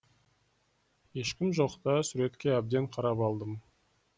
ешкім жоқта суретке әбден қарап алдым